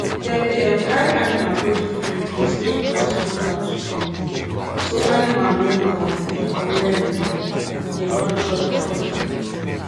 dem dey um carry animal go different place make grass grow back strong so animal no overfeed for where um dem don chop before before